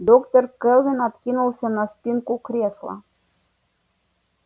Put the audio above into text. доктор кэлвин откинулся на спинку кресла